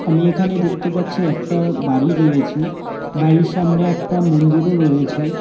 আমি এখানে দেখতে পাচ্ছি একটা বাড়ি রয়েছে বাড়ির সামনে একটা মন্দিরও রয়েছে।